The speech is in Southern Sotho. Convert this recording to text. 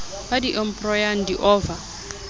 ba di embryo di ova